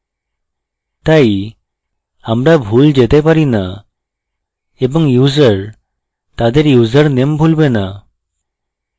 তাই আমরা ভুল যেতে পারি names এবং users তাদের ইউসারনেম ভুলবে names